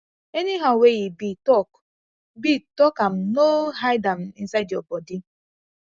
anyhow wey e be talk be talk am no hide am inside yur body